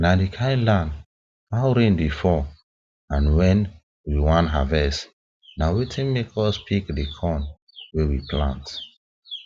na the kind land how rain dey fall and when we wan harvest na wetin make us pick the corn wey we plant